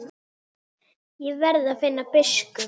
Ég verð að finna biskup!